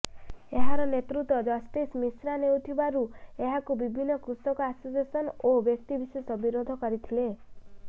ଏହାର ନେତୃତ୍ୱ ଜଷ୍ଟିସ ମିଶ୍ରା ନେଉଥିବାରୁ ଏହାକୁ ବିଭିନ୍ନ କୃଷକ ଆସୋସିଏସନ୍ ଓ ବ୍ୟକ୍ତିବିଶେଷ ବିରୋଧ କରିଥିଲେ